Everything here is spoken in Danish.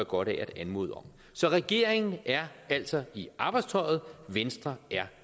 godt af at anmode om så regeringen er altså i arbejdstøjet venstre er